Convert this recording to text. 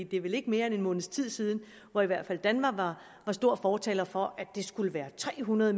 det er vel ikke mere end en måneds tid siden at i hvert fald danva var stor fortaler for at der skulle være tre hundrede